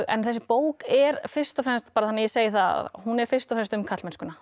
en þessi bók er fyrst og fremst bara þannig að ég segi það hún er fyrst og fremst um karlmennskuna